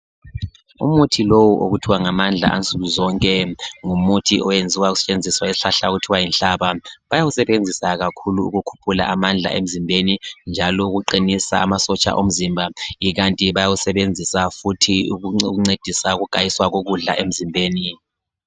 Umuthi lowu okuthiwa ngamandla ansukuzonke ngumuthi oyenziwa kusetshenziswa isihlahla okuthiwa yinhlaba. Bayawusebenzisa kakhulu ukukhuphula amandla emzimbeni njalo ukuqinisa amasotsha omzimba ikanti bayawusebenzisa futhi ukuncedisa ukugayiswa kokudla emzimbeni.